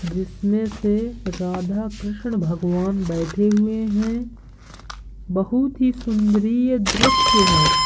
जिसमे से राधा कृषण भगवान बैठे हुए है। बोहोत ही सुंदरीय दृश्य है।